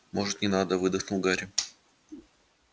может не надо выдохнул гарри